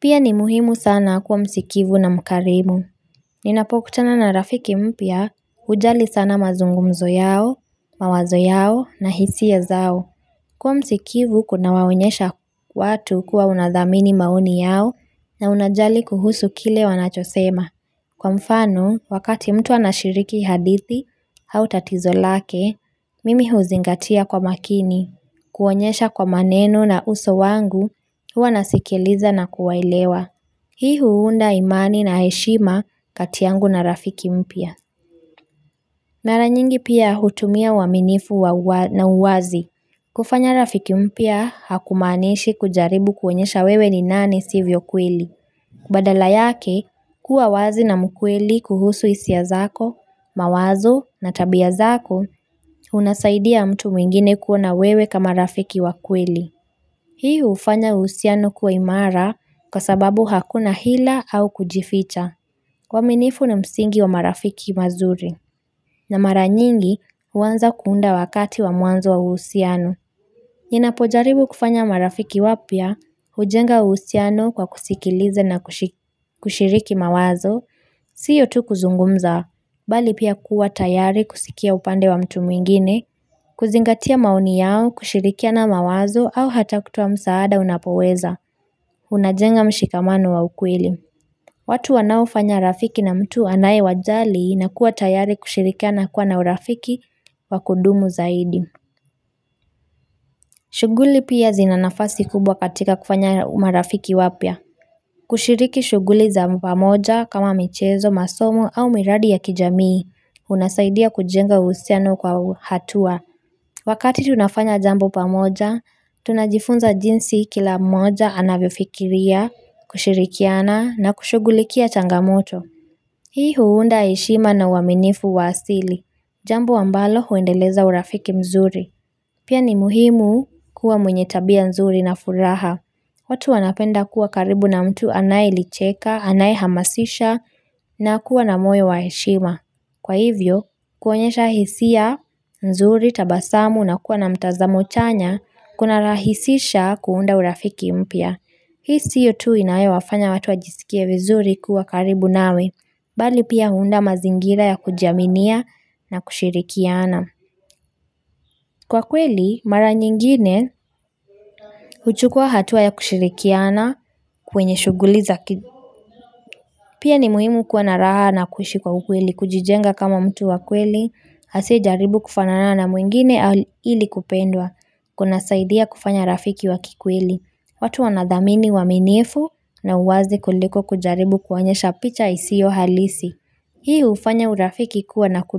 Pia ni muhimu sana kuwa msikivu na mkarimu. Ninapokutana na rafiki mpya hujali sana mazungumzo yao, mawazo yao na hisia zao. Kuwa msikivu kuna waonyesha watu kuwa unadhamini maoni yao na unajali kuhusu kile wanachosema. Kwa mfano, wakati mtu anashiriki hadithi, au tatizo lake, mimi huzingatia kwa makini, kuonyesha kwa maneno na uso wangu, kua nasikiliza na kuwaelewa. Hii huunda imani na heshima kati yangu na rafiki mpya. Mara nyingi pia hutumia waminifu na uwazi. Kufanya rafiki mpya hakumaanishi kujaribu kuonyesha wewe ni nani sivyo kweli. Badala yake kuwa wazi na mkweli kuhusu hisia zako, mawazo na tabia zako unasaidia mtu mwingine kuona wewe kama rafiki wa kweli. Hii hufanya uhusiano kuwa imara kwa sababu hakuna hila au kujificha. Kwa minifu na msingi wa marafiki mazuri. Na mara nyingi huanza kuunda wakati wa mwanzo wa uhusiano. Ninapojaribu kufanya marafiki wapya kujenga uhusiano kwa kusikiliza na kushiriki mawazo. Sio tu kuzungumza. Bali pia kuwa tayari kusikia upande wa mtu mwingine. Kuzingatia maoni yao, kushirikiana mawazo au hata kutoa msaada unapoweza Unajenga mshikamano wa ukweli watu wanao fanya rafiki na mtu anaye wajali na kuwa tayari kushirikiana kuwa na urafiki wa kudumu zaidi shughuli pia zina nafasi kubwa katika kufanya marafiki wapya kushiriki shughuli za pamoja kama michezo, masomo au miradi ya kijamii Unasaidia kujenga uhusiano kwa hatua Wakati tunafanya jambo pamoja, tunajifunza jinsi kila moja anavyofikiria, kushirikiana na kushughulikia changamoto. Hii huunda heshima na waminifu wa asili. Jambo ambalo huendeleza urafiki mzuri. Pia ni muhimu kuwa mwenye tabia nzuri na furaha. Watu wanapenda kuwa karibu na mtu anae licheka, anae hamasisha na kuwa na moyo wa heshima. Kwa hivyo, kuonyesha hisia, nzuri, tabasamu na kuwa na mtazamo chanya, kuna rahisisha kuunda urafiki mpya. Hii sio tu inayowafanya watu wajisikie vizuri kuwa karibu nawe, bali pia huunda mazingira ya kuji aminia na kushirikiana. Kwa kweli, mara nyingine, huchukua hatua ya kushirikiana kwenye shughuli za. Pia ni muhimu kuwa na raha na kuishi kwa ukweli, kujijenga kama mtu wa kweli, asiye jaribu kufanana na mwingine ili kupendwa, kuna saidia kufanya rafiki wa kikweli, watu wanadhamini uaminifu na uwazi kuliko kujaribu kuonyesha picha isiyo halisi. Hii hufanya urafiki kuwa na kudu.